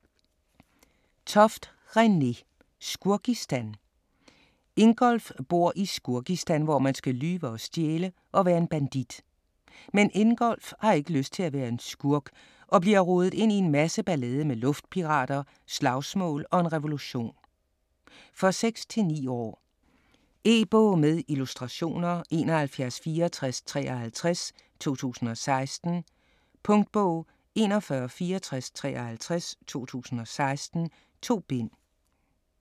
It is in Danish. Toft, René: Skurkistan Ingolf bor i Skurkistan, hvor man skal lyve og stjæle og være en bandit. Men Ingolf har ikke lyst til at være en skurk og bliver rodet ind i en masse ballade med luftpirater, slagsmål og en revolution. For 6-9 år. E-bog med illustrationer 716453 2016. Punktbog 416453 2016. 2 bind.